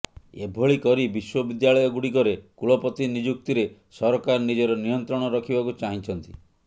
ଏଭଳି କରି ବିଶ୍ୱବିଦ୍ୟାଳୟଗୁଡ଼ିକରେ କୁଳପତି ନିଯୁକ୍ତିରେ ସରକାର ନିଜର ନିୟନ୍ତ୍ରଣ ରଖିବାକୁ ଚାହିଁଛନ୍ତି